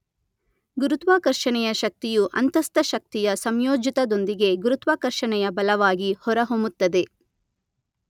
ಗುರುತ್ವಾಕರ್ಷಣೆಯ ಶಕ್ತಿಯು ಅಂತಸ್ಥ ಶಕ್ತಿಯ ಸಂಯೋಜಿತದೊಂದಿಗೆ ಗುರುತ್ವಕರ್ಷಣೆಯ ಬಲವಾಗಿ ಹೊರ ಹೊಮ್ಮುತ್ತದೆ.